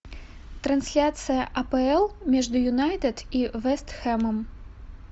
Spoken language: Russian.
трансляция апл между юнайтед и вест хэмом